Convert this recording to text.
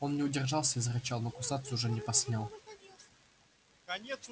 он не удержался и зарычал но кусаться уже не посмел